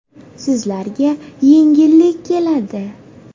Sizlarga yengillik keladi.